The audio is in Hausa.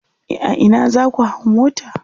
a Ina zaku hau mota?